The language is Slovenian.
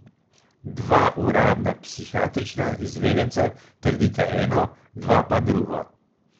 Dva uradna psihiatrična izvedenca trdita eno, dva pa drugo.